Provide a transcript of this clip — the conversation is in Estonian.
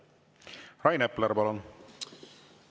Rain Epler, palun!